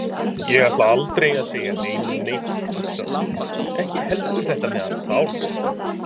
Ég ætla aldrei að segja neinum neitt, hugsaði hún, ekki heldur þetta með hann Bárð.